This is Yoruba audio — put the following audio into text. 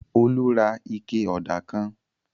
Olú ra ike ọ̀dà kan.